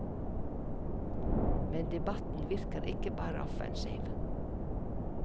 Men debatten virker ikke bare offensiv.